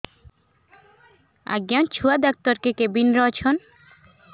ଆଜ୍ଞା ଛୁଆ ଡାକ୍ତର କେ କେବିନ୍ ରେ ଅଛନ୍